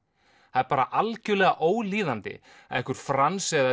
það er algjörlega ólíðandi að einhver Franz eða